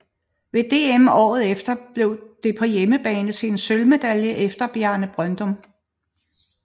Ved DM året efter blev det på hjemmebane til en sølvmedalje efter Bjarne Brøndum